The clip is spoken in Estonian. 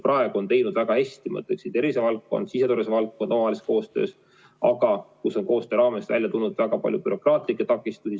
Praegu on seda teinud väga hästi, ma ütleksin, tervisevaldkond ja siseturvalisuse valdkond omavahelises koostöös, aga koostöö raames on välja tulnud ka väga palju bürokraatlikke takistusi.